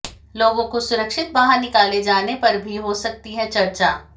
लोगों को सुरक्षित बाहर निकाले जाने पर भी हो सकती है चर्चा